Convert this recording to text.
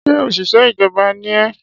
Ṣé òṣìṣẹ́ ìjọba ni ẹ́?